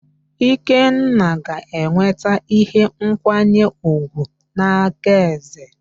Ikenna ga-enweta ihe nkwanye ùgwù n'aka eze